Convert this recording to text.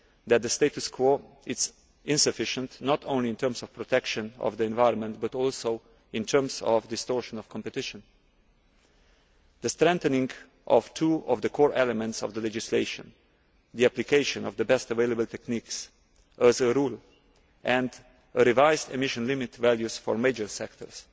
that the status quo is insufficient, not only in terms of protection of the environment, but also in terms of distortion of competition. The strengthening of two of the core elements of the legislation the application of the best available techniques as a rule, and revised emission limit values for major sectors